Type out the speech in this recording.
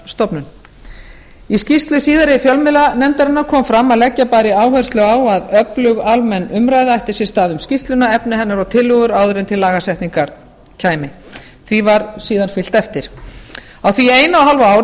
fjarskiptastofnun í skýrslu síðari fjölmiðlanefndarinnar kom fram að leggja bæri áherslu á að öflug almenn umræða ætti sér stað um skýrsluna efni hennar og tillögur áður en til lagasetningar kæmi því var síðan fylgt eftir á því eina og hálfu ári